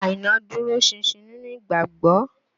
Àìná dúró ṣinṣin nínú ìgbàgbọ́